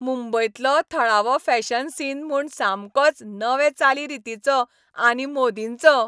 मुंबयंतलो थळावो fashion scene म्हूण सामकोच नवे चाली रीतींचो आनी मोदींचो.